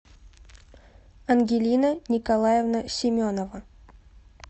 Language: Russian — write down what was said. ангелина николаевна семенова